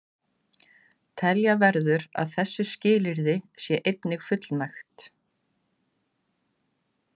Telja verður að þessu skilyrði sé einnig fullnægt.